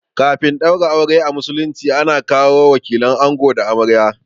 Kafin a ɗaura aure a musulunci ana kawo wakilan ango da amarya